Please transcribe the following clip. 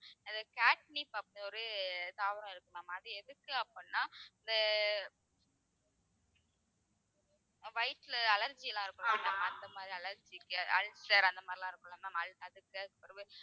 அது catnip அப்படின்னு ஒரு தாவரம் இருக்கு ma'am அது எதுக்கு அப்படின்னா இந்த வயித்துல allergy எல்லாம் இருக்கும் இல்ல அந்த மாதிரி allergy க்கு ulcer அந்த மாதிரி எல்லாம் இருக்கும்ல ma'am அதுக்கு